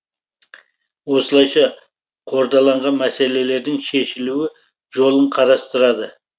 осылайша қордаланған мәселелердің шешілуі жолын қарастырады